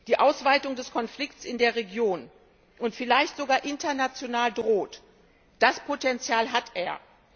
Die Ausweitung des Konflikts in der Region und vielleicht sogar international droht, das Potenzial hat er.